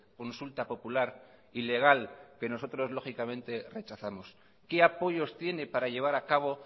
consulta popular ilegal que nosotros lógicamente rechazamos qué apoyos tiene para llevar a cabo